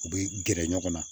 U bɛ gɛrɛ ɲɔgɔn na